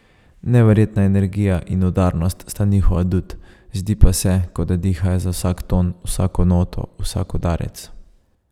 Neverjetna energija in udarnost sta njihov adut, zdi pa se, kot da dihajo za vsak ton, vsako noto, vsak udarec.